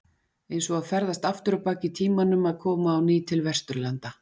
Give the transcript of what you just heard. Eins og að ferðast aftur á bak í tímanum að koma á ný til Vesturlanda.